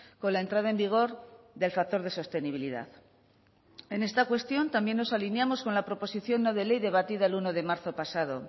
con la entrada en vigor del factor de sostenibilidad en esta cuestión también nos alineamos con la proposición no de ley debatida el uno de marzo pasado